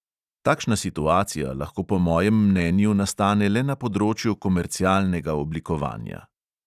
Takšna situacija lahko po mojem mnenju nastane le na področju komercialnega oblikovanja.